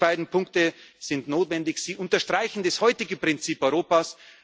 können. Diese beiden Punkte sind notwendig, sie unterstreichen das heutige Prinzip